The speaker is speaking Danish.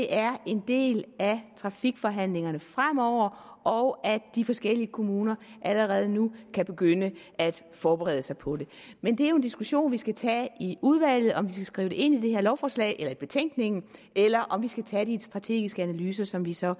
er en del af trafikforhandlingerne fremover og at de forskellige kommuner allerede nu kan begynde at forberede sig på det men det er jo en diskussion vi skal tage i udvalget om vi skal skrive det ind i det her lovforslag eller i betænkningen eller om vi skal tage de strategiske analyser som vi så